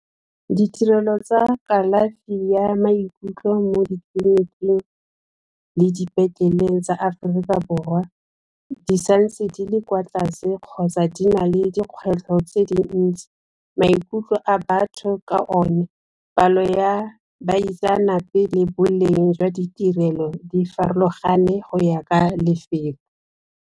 Ditirelo tsa kalafi ya maikutlo mo ditleliniking le dipetleleng tsa Aforika Borwa di sa ntse di le kwa tlase kgotsa di na le kgwetlho tse dintsi, maikutlo a batho ka one palo ya baitsanape le boleng jwa ditirelo di farologane go ya ka lefelo.